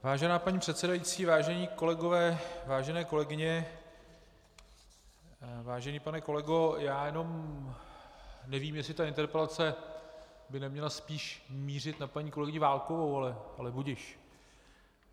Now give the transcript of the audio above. Vážená paní předsedající, vážení kolegové, vážené kolegyně, vážený pane kolego, já jenom nevím, jestli ta interpelace by neměla spíše mířit na paní kolegyni Válkovou, ale budiž.